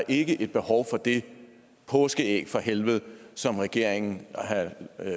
ikke er behov for det påskeæg fra helvede som regeringen